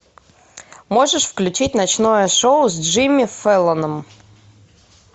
можешь включить ночное шоу с джимми фэллоном